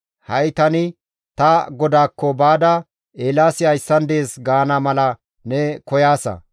Ha7i tani ta godaakko baada, ‹Eelaasi hayssan dees› gaana mala ne koyaasa.